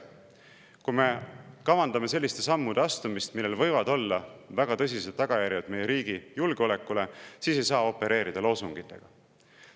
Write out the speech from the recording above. Kui me kavandame selliste sammude astumist, millel võivad olla väga tõsised tagajärjed meie riigi julgeolekule, siis ei saa opereerida loosungitega.